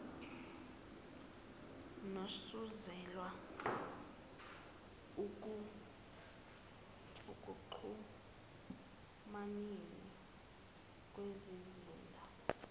nosuselwe ekuxhumaneni kezizinda